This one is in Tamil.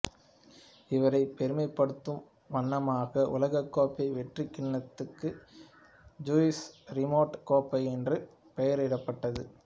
இவரைப் பெருமைப்படுத்தும் வண்ணமாக உலகக்கோப்பை வெற்றிக்கிண்ணத்துக்கு ஜூல்ஸ் ரிமெட் கோப்பை என்று பெயரிடப்பட்டது